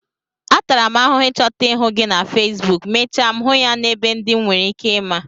Atara m ahụhụ ịchọta ihu gị na feesbuk, mechaa m hụ ya n'ebe ndị m nwereike ịma